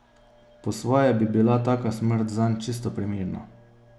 Po svoje bi bila taka smrt zanj čisto primerna.